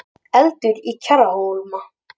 Eldur í Kjarrhólma